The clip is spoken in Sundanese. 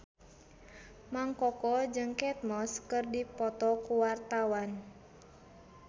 Mang Koko jeung Kate Moss keur dipoto ku wartawan